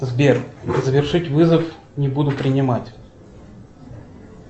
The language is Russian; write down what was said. сбер завершить вызов не буду принимать